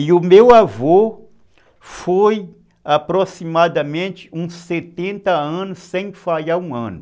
E o meu avô foi aproximadamente uns setenta anos sem falhar um ano.